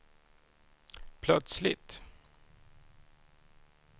plötsligt